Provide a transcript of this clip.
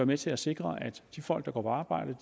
med til at sikre at de folk der går på arbejde